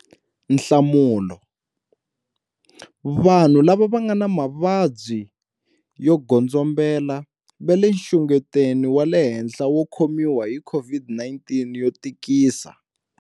Nhlamulo- Vanhu lava nga na mavabyi yo godzombela va le nxungetweni wa le henhla wo khomiwa hi COVID-19 yo tikisa.